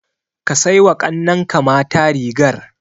Ka sai wa ƙannenka mata rigar.